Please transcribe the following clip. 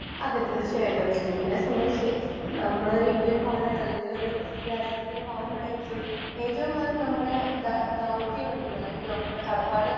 speaker 1 അതേ തീർച്ചയായിട്ടും എന്നെ സംബന്ധിച്ച് നമ്മളൊരു ഇന്ത്യൻ പൗരൻ അല്ലെങ്കിലൊരു രാജ്യത്തിൻ്റെ പൗരനായിരിക്കെ ഏറ്റവും ഏഹ് നമ്മടെ ദ ദൗത്യമെന്നത് അല്ലെങ്കിൽ നമ്മുടെ കടപ്പാട്